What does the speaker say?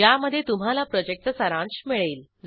ज्यामध्ये तुम्हाला प्रॉजेक्टचा सारांश मिळेल